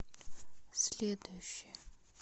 следующая